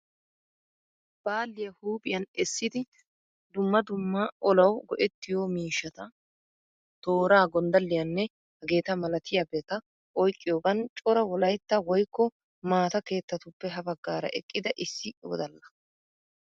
Baalliya huuphiyan essidi dumma dumma olawu go'ettiyo mishshata; toora, gonddalliyanne hageta malatiyabata oyqqiyogan cora Wolaytta woykko maata keettatuppe ha baggara eqqida issi wodalla.